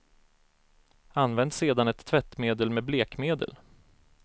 Använd sedan ett tvättmedel med blekmedel.